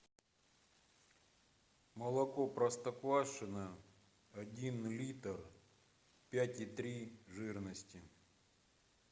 молоко простоквашино один литр пять и три жирности